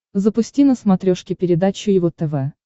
запусти на смотрешке передачу его тв